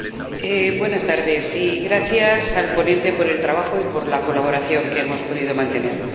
Señor Presidente, gracias al ponente por el trabajo y por la colaboración que hemos podido mantener.